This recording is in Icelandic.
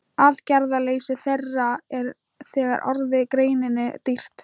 Aðgerðaleysi þeirra er þegar orðið greininni dýrt.